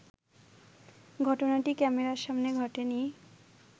ঘটনাটি ক্যামেরার সামনে ঘটেনি